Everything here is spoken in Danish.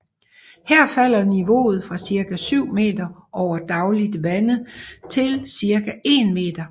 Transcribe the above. Her falder niveauet fra cirka 7 meter over dagligt vandet til cirka 1 meter